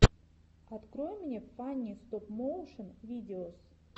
открой мне фанни стоп моушен видеос